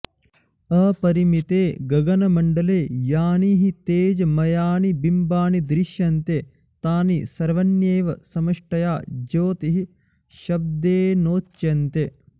अपरिमिते गगनमण्डले यानि हि तेजोमयानि बिम्बानि दृश्यन्ते तानि सवण्येव समष्टया ज्योतिःशब्देनोच्यन्ते